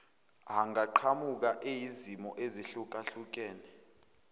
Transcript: angaqhamuka eyizimo ezehlukahlukene